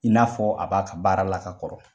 I n'a fɔ a b'a ka baara la ka kɔrɔ.